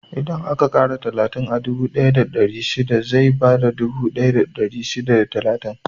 Idan aka ƙara talatin a dubu ɗaya da ɗari shida, zai bada dubu ɗaya da ɗari shida da talatin.